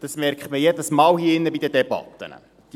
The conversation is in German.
Das stellt man hier drin jedes Mal bei den Debatten fest.